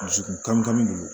Dusukun kami kamin